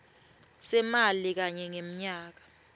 semali kanye ngemnyaka